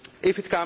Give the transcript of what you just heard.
for